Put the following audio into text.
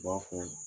U b'a fɔ